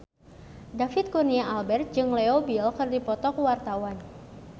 David Kurnia Albert jeung Leo Bill keur dipoto ku wartawan